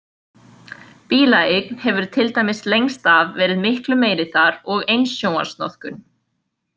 Bílaeign hefur til dæmis lengst af verið miklu meiri þar og eins sjónvarpsnotkun.